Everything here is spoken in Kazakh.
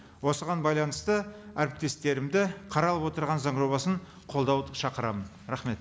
осыған байланысты әріптестерімді қаралып отырған заң жобасын қолдауға шақырамын рахмет